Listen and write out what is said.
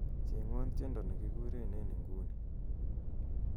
chengwon tiendo negiurereni en inguni